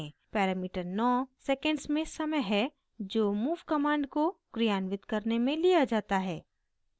parameter 9 seconds में समय है जो move command को क्रियान्वित करने में लिया जाता है